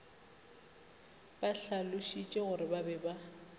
ba hlalošitšegore ba be ba